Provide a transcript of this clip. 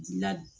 Dilan